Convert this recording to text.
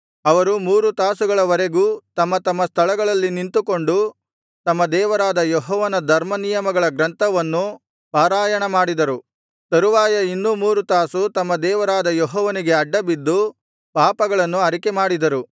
ಅವರು ಮೂರು ತಾಸುಗಳವರೆಗೂ ತಮ್ಮ ತಮ್ಮ ಸ್ಥಳಗಳಲ್ಲಿ ನಿಂತುಕೊಂಡು ತಮ್ಮ ದೇವರಾದ ಯೆಹೋವನ ಧರ್ಮನಿಯಮಗಳ ಗ್ರಂಥವನ್ನು ಪಾರಾಯಣಮಾಡಿದರು ತರುವಾಯ ಇನ್ನೂ ಮೂರು ತಾಸು ತಮ್ಮ ದೇವರಾದ ಯೆಹೋವನಿಗೆ ಅಡ್ಡ ಬಿದ್ದು ಪಾಪಗಳನ್ನು ಅರಿಕೆಮಾಡಿದರು